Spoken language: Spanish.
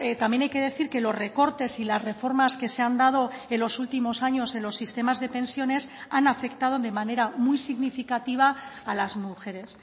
también hay que decir que los recortes y las reformas que se han dado en los últimos años en los sistemas de pensiones han afectado de manera muy significativa a las mujeres